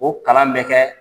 O kalan bɛ kɛ